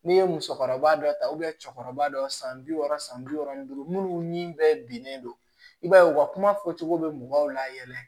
N'i ye musokɔrɔba dɔ ta cɛkɔrɔba dɔ san bi wɔɔrɔ san bi wɔɔrɔ minnu ni bɛ binnen don i b'a ye u ka kuma fɔcogo bɛ mɔgɔw layɛlɛ